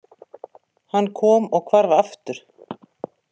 Hann kom og hvarf aftur.